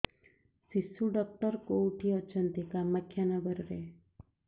ଶିଶୁ ଡକ୍ଟର କୋଉଠି ଅଛନ୍ତି କାମାକ୍ଷାନଗରରେ